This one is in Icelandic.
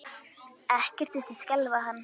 Ekkert virtist skelfa hann.